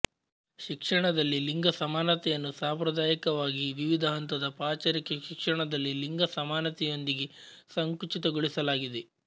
ಶಿಕ್ಷಣದಲ್ಲಿ ಲಿಂಗ ಸಮಾನತೆಯನ್ನು ಸಾಂಪ್ರದಾಯಿಕವಾಗಿ ವಿವಿಧ ಹಂತದ ಪಚಾರಿಕ ಶಿಕ್ಷಣದಲ್ಲಿ ಲಿಂಗ ಸಮಾನತೆಯೊಂದಿಗೆ ಸಂಕುಚಿತಗೊಳಿಸಲಾಗಿದೆ